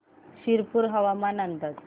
शिरपूर हवामान अंदाज